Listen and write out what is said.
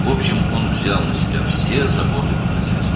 Ümumiyyətlə, o, bütün ev işlərini öz üzərinə götürmüşdü.